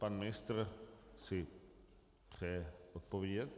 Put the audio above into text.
Pan ministr si přeje odpovědět.